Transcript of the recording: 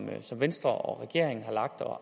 venstre og regeringen har lagt og